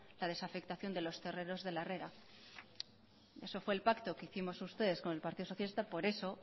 la desafectación de los terrenos de la herrera eso fue el pacto que hicimos ustedes con el partido socialista por eso